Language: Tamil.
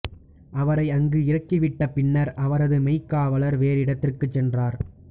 அவரை அங்கு இறக்கி விட்ட பின்னர் அவரது மெய்க்காவலர் வேறு இடத்துக்குச் சென்றார்